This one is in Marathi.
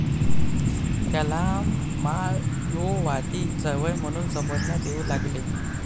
त्याला माओवादी चळवळ म्हणून संबोधण्यात येऊ लागले